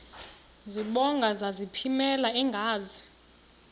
zibongo zazlphllmela engazi